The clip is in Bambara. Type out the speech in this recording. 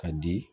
Ka di